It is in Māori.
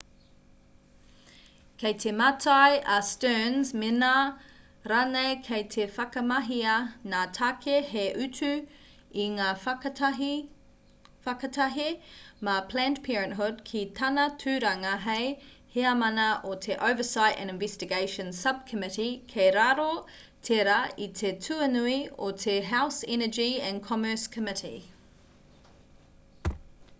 kei te mātai a stearns mēnā rānei kei te whakamahia ngā tāke hei utu i ngā whakatahe mā planned parenthood ki tāna tūranga hei heamana o te oversight and investigations subcommittee kei raro tērā i te tuanui o te house energy and commerce committee